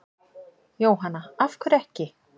Jóhanna: Af hverju ekki?